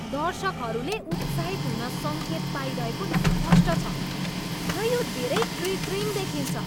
दर्शकहरूले उत्साहित हुन सङ्केत पाइरहेको स्पष्ट छ र यो धेरै कृत्रिम देखिन्छ।